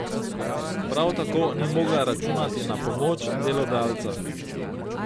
Prav tako ni mogla računati na pomoč delodajalca.